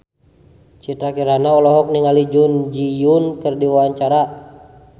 Citra Kirana olohok ningali Jun Ji Hyun keur diwawancara